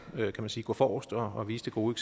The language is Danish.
gå forrest og og vise det gode